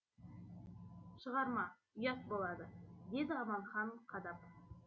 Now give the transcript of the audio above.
шығарма ұят болады деді аманхан қадап